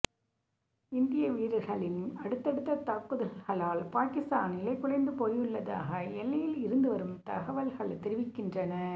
இந்திய வீரர்களின் அடுத்தடுத்த தாக்குதல்களால் பாகிஸ்தான் நிலை குலைந்து போயுள்ளதாக எல்லையில் இருந்து வரும் தகவல்கள் தெரிவிக்கின்றன